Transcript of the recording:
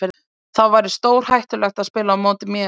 Þá væri stórhættulegt að spila á móti mér.